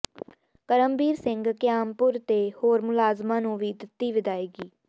ਕਰਮਬੀਰ ਸਿੰਘ ਕਿਆਮਪੁਰ ਤੇ ਹੋਰ ਮੁਲਾਜ਼ਮਾਂ ਨੂੰ ਵੀ ਦਿੱਤੀ ਵਿਦਾਇਗੀ